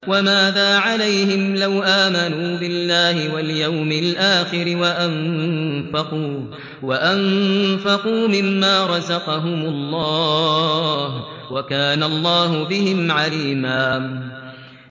وَمَاذَا عَلَيْهِمْ لَوْ آمَنُوا بِاللَّهِ وَالْيَوْمِ الْآخِرِ وَأَنفَقُوا مِمَّا رَزَقَهُمُ اللَّهُ ۚ وَكَانَ اللَّهُ بِهِمْ عَلِيمًا